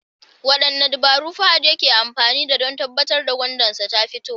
Wadanne dabaru Fahad yake amfani da don tabbatar da gwandansa tafito?